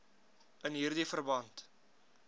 in hierdie verband